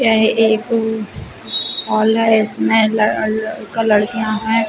यह एक हॉल है। इसमें लड़ लड़का लड़किया है।